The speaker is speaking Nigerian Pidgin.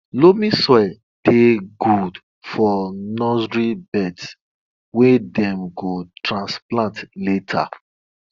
loamy soil dey good for nursery beds wey dem go transplant later